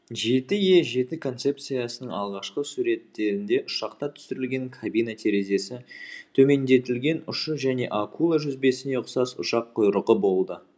жеті е жеті концепциясының алғашқы суреттерінде ұшақта түсірілген кабина терезесі төмендетілген ұшы және акула жүзбесіне ұқсас ұшақ құйрығы болды